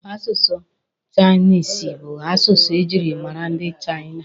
Asụsụ chainisi bụ asụsụ e jiri mara ndị Chaina.